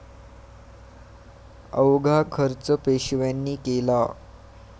अवघा खर्च पेशव्यांनी केला